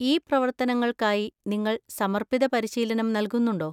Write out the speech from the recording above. ഈ പ്രവർത്തനങ്ങൾക്കായി നിങ്ങൾ സമർപ്പിത പരിശീലനം നൽകുന്നുണ്ടോ?